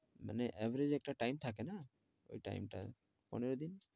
মানে average একটা time থাকেনা? ঐ time টা পনেরো দিন।